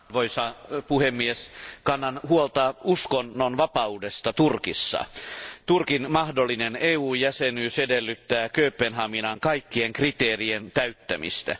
Arvoisa puhemies, kannan huolta uskonnonvapaudesta Turkissa Turkin mahdollinen EU jäsenyys edellyttää Kööpenhaminan kaikkien kriteereiden täyttämistä.